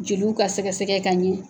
Jeliw ka sɛgɛsɛgɛ ka ɲɛ